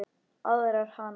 Aðvarar hana.